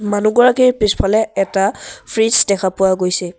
মানুহগৰাকীৰ পিছফালে এটা ফ্ৰিজ দেখা পোৱা গৈছে।